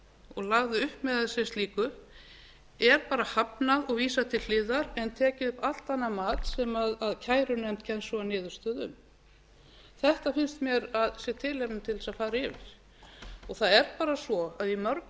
og lagði upp með það sem slíkt er bara hafnað og vísað til hliðar en tekið upp allt annað mat sem kærunefnd kemst svo að niðurstöðu um þetta finnst mér að sé tilefni til þess að fara yfir það er bara svo að í mörgum